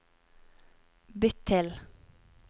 bytt til